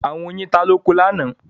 Àwọn yin ta lóko lánàá.